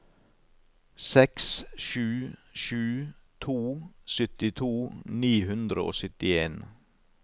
seks sju sju to syttito ni hundre og syttien